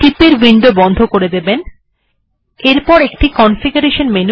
টিপ এর উইন্ডো টি বন্ধ করে দেবেন